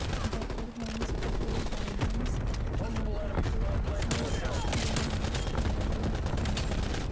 better Homes ਅਤੇ Gardens ਤੋਂ ਧਾਤੂ ਐਕਸੈਂਟਸ ਦੇ ਨਾਲ ਹੇਲੋਵੀਨ ਮੰਟੇਲ